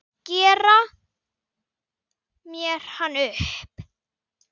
Gera mér hann upp?